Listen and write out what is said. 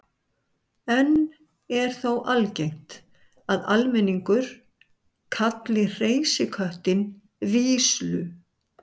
enn er þó algengt að almenningur kalli hreysiköttinn víslu